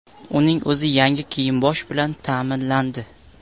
Uning o‘zi yangi kiyim-bosh bilan ta’minlandi.